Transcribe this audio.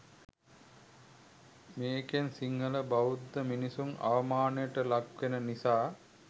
මේකෙන් සිංහල බෞද්ධ මිනිස්සු අවමානයට ලක් වෙන නිසා.